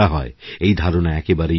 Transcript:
এই ধারণাএকেবারেই ভুল